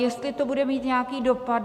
Jestli to bude mít nějaký dopad.